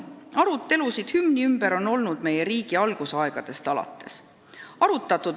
Arutelusid hümni ümber on olnud meie riigi algusaegadest alates.